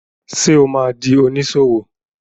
Ṣé o ma di oníṣòwò?